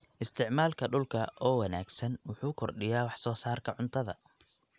Isticmaalka dhulka oo wanaagsan wuxuu kordhiyaa wax soo saarka cuntada.